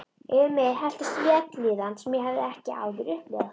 Yfir mig helltist vellíðan sem ég hafði ekki áður upplifað.